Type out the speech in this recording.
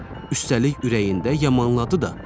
Üstəlik ürəyində yamanladı da.